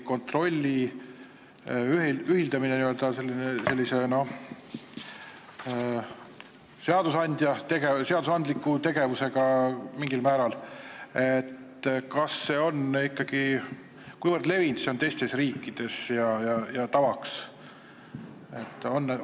Kontrolli ühildamine sellise mingil määral seadusandliku tegevusega – kui levinud see on teistes riikides ja kas see on tavaks?